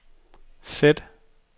sæt